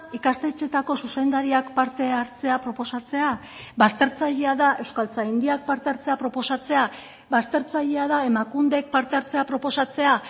ikastetxeetako zuzendariak parte hartzea proposatzea baztertzailea da euskaltzaindiak parte hartzea proposatzea baztertzailea da emakundek parte hartzea proposatzea